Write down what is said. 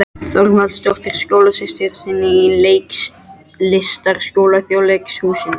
Þorvaldsdóttur, skólasystur sinni úr Leiklistarskóla Þjóðleikhússins.